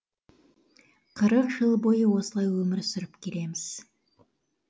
қырық жыл бойы осылай өмір сүріп келеміз